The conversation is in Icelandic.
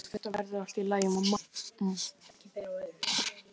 Þetta verður allt í góðu lagi, mamma.